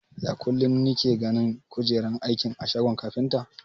Ya kulun nike ganin kujeran aiki a shagon kafinta?